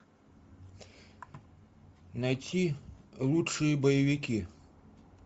найти лучшие боевики